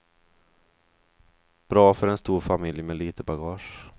Bra för en stor familj med lite bagage.